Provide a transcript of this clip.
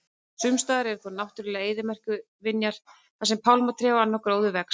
Sumstaðar eru þó náttúrulegar eyðimerkurvinjar þar sem pálmatré og annar gróður vex.